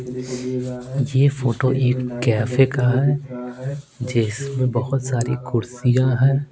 यह फोटो एक कैफे का है जिसमें बहुत सारी कुर्सियां हैं।